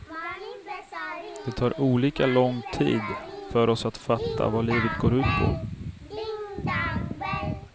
Det tar olika lång tid för oss att fatta vad livet går ut på.